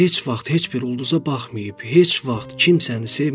Heç vaxt heç bir ulduza baxmayıb, heç vaxt kimsəni sevməyib.